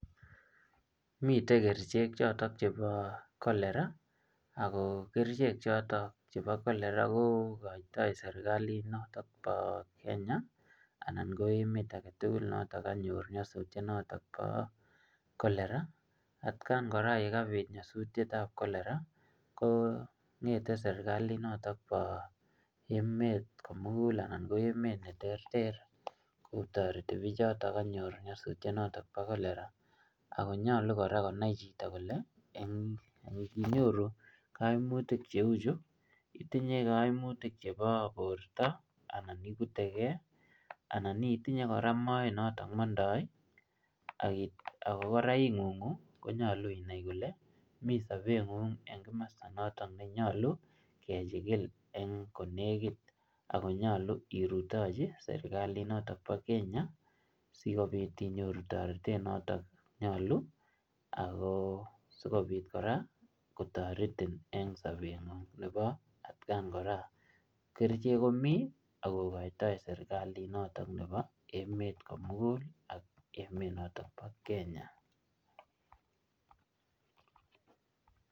Mitei kerichek chotok chebo cholera. Ako kerichek chotok chebo cholera kokoitoi serikalit notok bo Kenya, anan ko emet agetugul notok kanyor nyasuitiet notok bo cholera. Atkaan kora yekabit nyasutietab cholera, kong'ete notok serikalit nebo emet komugul anan ko emet ne ter ter, kotoreti bichotok kanyor nyasutiet notok bo cholera. Ako nyolu kora konai chito kole, eng' nginyoru kaimutik che uchu, itinye kaimutik chebo borto, anan ikuteke, anan itinye kora mooet notok ne mondoi, um ako kora ing'ung'u, konyolu inai kole ii sobet ng'ung eng' kimasta notok ne nyolu kechikil eng' kot nekit akonyolu irutochi serikilat notok bo Kenya, sikobit inyoru toretet notok nyolu, ako asikobit kora kotoretin eng' sobet ng'ung atkaan kora. Kerichek komii, akokotoi kora serikalit notok emet ko mugul ak emet notok bo Kenya